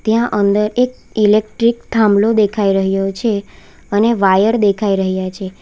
ત્યાં અંદર એક ઈલેક્ટ્રીક થાંભલો દેખાઈ રહ્યો છે અને વાયર દેખાઈ રહ્યા છે.